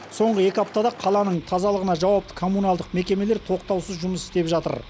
соңы екі аптада қаланың тазалығына жауапты коммуналдық мекемелер тоқтаусыз жұмыс істеп жатыр